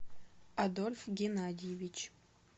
адольф геннадьевич